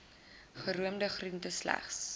geroomde groente sagte